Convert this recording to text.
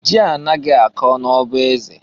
Ji anaghị akọ n' ọba eze.